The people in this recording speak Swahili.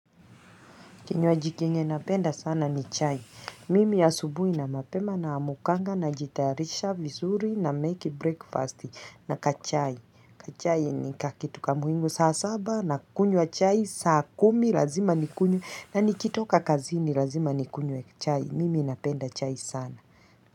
Kinywaji kenye napenda sana ni chai. Mimi asubuhi na mapema naamukanga najitayarisha vizuri na make breakfast na kachai. Kachai ni kakitu kamuhimu saa saba na kunywa chai saa kumi lazima nikunywe na nikitoka kazini lazima nikunywe chai. Mimi napenda chai sana.